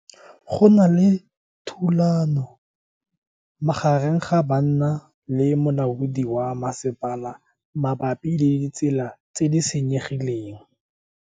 Go na le thulanô magareng ga banna le molaodi wa masepala mabapi le ditsela tse di senyegileng.